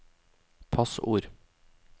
passord